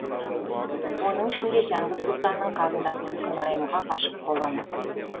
оның ішінде жәңгір сұлтанның қарындасы күнайымға ғашық боламын